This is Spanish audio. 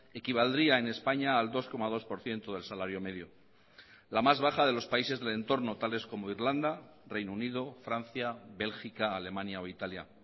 equivaldría en españa al dos coma dos por ciento del salario medio la más baja de los países del entorno tales como irlanda reino unido francia bélgica alemania o italia